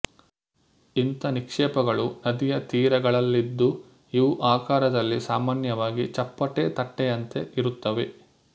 ಇಂಥ ನಿಕ್ಷೇಪಗಳು ನದಿಯ ತೀರಗಳಲ್ಲಿದ್ದು ಇವು ಆಕಾರದಲ್ಲಿ ಸಾಮಾನ್ಯವಾಗಿ ಚಪ್ಪಟೆ ತಟ್ಟೆಯಂತೆ ಇರುತ್ತವೆ